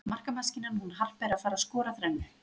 Markamaskínan hún Harpa er að fara skora þrennu.